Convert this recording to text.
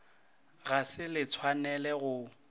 ga se le tshwanele go